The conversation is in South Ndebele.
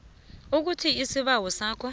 ukuthi isibawo sakho